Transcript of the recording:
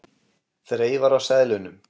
Þreifar á seðlunum.